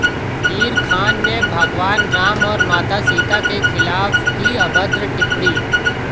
हीर खान ने भगवान राम और माता सीता के खिलाफ की अभद्र टिप्पणी